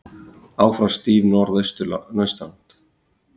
Áfram stíf norðaustanátt